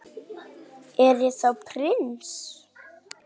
Er ég þá prins?